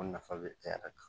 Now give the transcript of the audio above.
nafa bɛ e yɛrɛ kan